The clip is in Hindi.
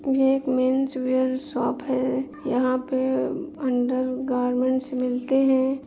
ये एक मेन्स वेयर शॉप है यहाँ पे अंडर गारमेंट्स मिलते हैं।